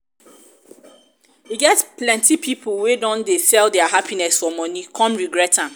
e get plenty pipo wey don sell dia happiness for money come regret am